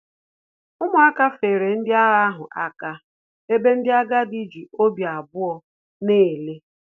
Umuaka feere ndị agha ahụ aka, ebe ndị agadi ji obi abụọ na-ele